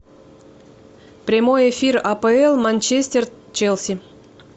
прямой эфир апл манчестер челси